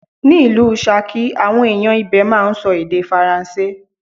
Ni ìlú Ṣakí, àwọn ẹ̀yàn ibè máa ń sọ èdè Faransé.